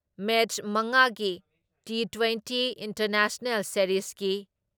ꯃꯦꯠꯁ ꯃꯉꯥ ꯒꯤ twenty twenty international ꯁꯦꯔꯤꯖꯒꯤ